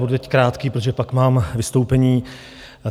Budu teď krátký, protože pak mám vystoupení.